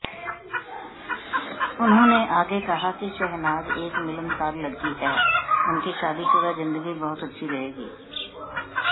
उन्होंने आगे कहा कि शहनाज एक मिलनसार लड़की हैं उनकी शादीशुदा जिंदगी बहुत अच्छी रहेगी